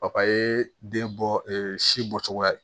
ye den bɔ si bɔcogoya ye